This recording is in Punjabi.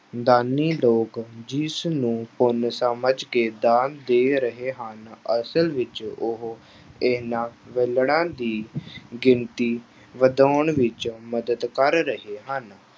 ਦਾਨੀ ਲੋਕ ਜਿਸਨੂੰ ਪੁੰਨ ਸਮਝ ਕੇ ਦਾਨ ਦੇ ਰਹੇ ਹਨ ਅਸਲ ਵਿੱਚ ਉਹ ਇਹਨਾਂ ਵਿਹਲੜਾਂ ਦੀ ਗਿਣਤੀ ਵਧਾਉਣ ਵਿੱਚ ਮਦਦ ਕਰ ਰਹੇ ਹਨ।